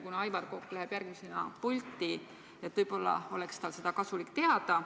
Kuna Aivar Kokk läheb järgmisena pulti, võib-olla oleks tal kasulik seda teada.